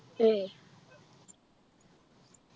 ഏയ്